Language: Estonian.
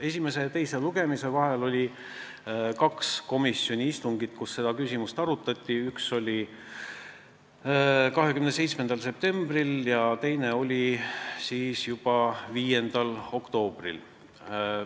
Esimese ja teise lugemise vahel oli kaks komisjoni istungit, kus seda küsimust arutati: üks oli 27. septembril ja teine oli 5. oktoobril.